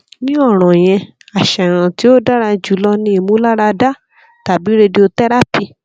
ni ọran yẹn aṣayan ti o dara julọ ni imularada tabi radiotherapy